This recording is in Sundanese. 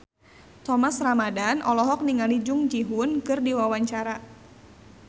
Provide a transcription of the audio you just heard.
Thomas Ramdhan olohok ningali Jung Ji Hoon keur diwawancara